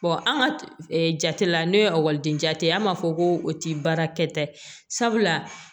an ka jate la ne ye ekɔliden jatigɛ an b'a fɔ ko o ti baara kɛta ye sabula